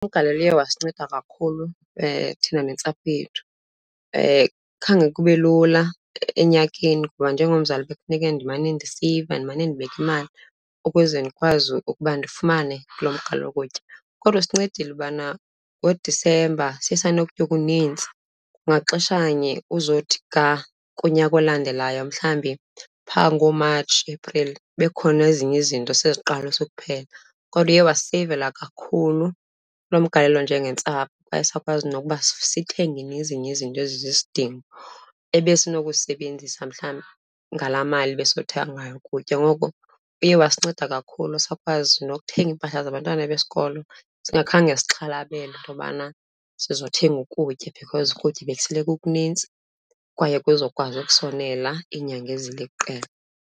Umgalelo uye wasinceda kakhulu thina nentsapho yethu. Khange kube lula enyakeni kuba njengomzali bekufuneke ndimane ndiseyiva, ndimane ndibeka imali ukuze ndikwazi ukuba ndifumane kulo mgalelo wokutya, kodwa usincedile ubana ngoDisemba siye sanokutya okunintsi. Kwangaxeshanye uzothi ga kunyaka olandelayo mhlawumbi phaa ngoMatshi, Epril bekukhona ezinye izinto seziqalisa ukuphela, kodwa uye wasiseyivela kakhulu lo mgalelo njengentsapho. Kwaye sakwazi nokuba sithenge nezinye izinto ezizisidingo ebesinokuzisebenzisa mhlawumbi ngalaa mali besizothenga ngayo ukutya. Ngoko uye wasinceda kakhulu, sakwazi nokuthenga iimpahla zabantwana besikolo singakhange sixhalabele into yobana sizothenga ukutya because ukutya bekusele kukunintsi kwaye kuzokwazi ukusonela iinyanga eziliqela.